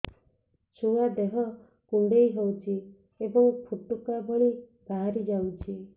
ଛୁଆ ଦେହ କୁଣ୍ଡେଇ ହଉଛି ଏବଂ ଫୁଟୁକା ଭଳି ବାହାରିଯାଉଛି